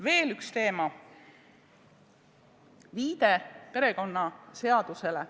Veel üks teema: viide perekonnaseadusele.